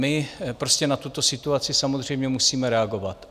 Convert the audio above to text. My prostě na tuto situaci samozřejmě musíme reagovat.